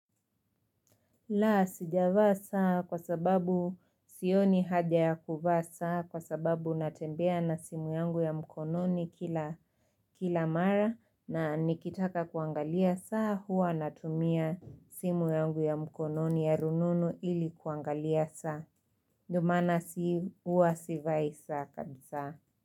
Laa, sijavaa saa kwa sababu sioni haja ya kuvaa saa kwa sababu natembea na simu yangu ya mkononi kila mara na nikitaka kuangalia saa huwa natumia simu yangu ya mkononi ya rununu ilikuangalia saa. Ndo mana huwa sivai saa kabisa.